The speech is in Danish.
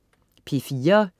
P4: